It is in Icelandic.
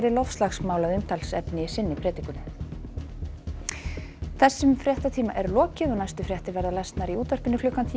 loftslagsmál að umtalsefni í sinni predikun þessum fréttatíma er lokið næstu fréttir verða í útvarpi klukkan tíu